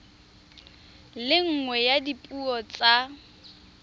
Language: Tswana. le nngwe ya dipuo tsa